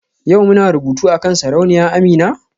Yau muna rubutu akan Sarauniya Amina?